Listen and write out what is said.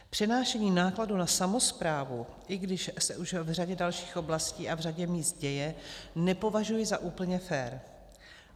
Přenášení nákladů na samosprávu, i když už se v řadě dalších oblastí a v řadě míst děje, nepovažuji za úplně fér.